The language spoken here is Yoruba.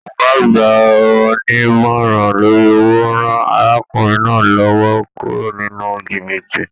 Ọgá àgbà onímọ̀rán lórí owó rán arákùnrin náà l'ọwọ kúrò nínú jìbìtì.